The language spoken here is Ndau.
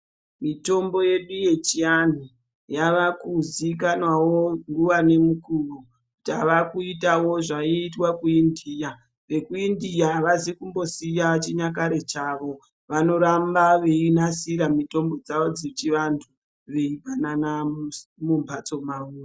Mitombo yedu yechianhu yaakuziikanwawo nguva ngemukuwo. Tavakuitawo zvaiitwa kuIndia. VekuIndia avazi kumbosiya chinyakare chavo. Vanoramba veinasira mitombo dzavo dzechivantu veipanana mumphatso mavo.